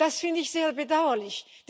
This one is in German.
Das finde ich sehr bedauerlich.